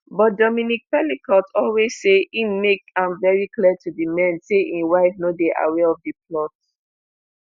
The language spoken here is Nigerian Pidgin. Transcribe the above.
but dominique pelicot always say im make am very clear to di men say im wife no dey aware of di plot